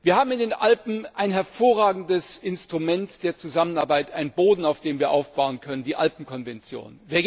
Wir haben in den Alpen ein hervorragendes Instrument der Zusammenarbeit, einen Boden, auf dem wir aufbauen können die Alpenkonvention.